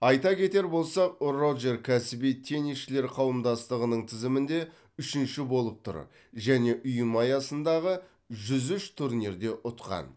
айта кетер болсақ роджер кәсіби теннисшілер қауымдастығының тізімінде үшінші болып тұр және ұйым аясындағы жүз үш турнирде ұтқан